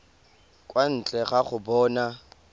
kwa ntle ga go bona